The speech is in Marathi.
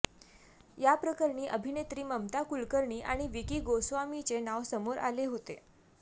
या प्रकरणी अभिनेत्री ममता कुलकर्णी आणि विकी गोस्वामीचे नाव समोर आले होते